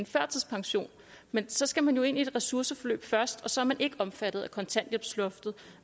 førtidspension men så skal man jo ind i et ressourceforløb først og så er man ikke omfattet af kontanthjælpsloftet